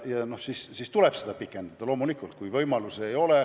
Siis tulebki seda tähtaega pikendada, loomulikult.